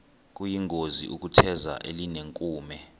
kuyingozi ukutheza elinenkume